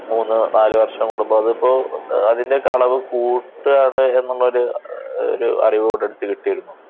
മൂന്ന് നാല് വർഷം കൂടുമ്പോ അത് ഇപ്പോ അതിന്റെ ഒക്കെ അളവ് കൂട്ടുക എന്നുള്ള ഒരു ഒരു അറിവ് കൂടെ അടുത്ത് കിട്ടിയിരുന്നു.